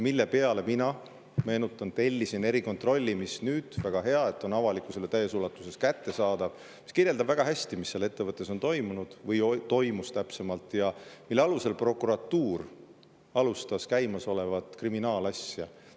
Meenutan, et mina tellisin erikontrolli – väga hea, et see on nüüd avalikkusele täies ulatuses kättesaadav –, mis kirjeldab väga hästi ja täpselt, mis seal ettevõttes toimus, ja mille alusel prokuratuur alustas käimasolevat kriminaalasja.